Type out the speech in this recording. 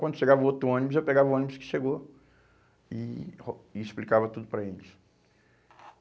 Quando chegava outro ônibus, eu pegava o ônibus que chegou e ro e explicava tudo para eles.